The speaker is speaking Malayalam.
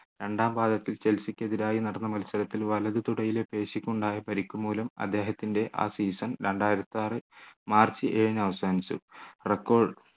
രണ്ടാം പാദത്തിൽ ചെൽസിക്കെതിരായി നടന്ന മത്സരത്തിൽ വലത് തുടയിലെ പേശിക്ക് ഉണ്ടായ പരിക്കു മൂലം അദ്ദേഹത്തിൻ്റെ ആ season രണ്ടായിരത്തിയാറ് മാർച്ച് ഏഴിനു അവസാനിച്ചു record